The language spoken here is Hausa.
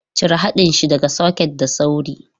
Cire haɗin shi daga soket da sauri!